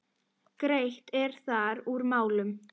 Greitt er þar úr málum.